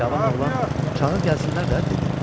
Cavan oğlan, çağır gəlsinlər də dedi.